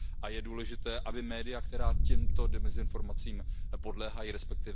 A je důležité, aby média, která těmto dezinformacím podléhají, resp.